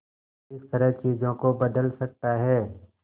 किस तरह चीजों को बदल सकता है